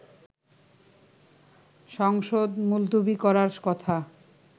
সংসদ মুলতবি করার কথা